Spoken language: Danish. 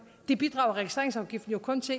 og